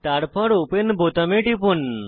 তারপর ওপেন বোতামে টিপুন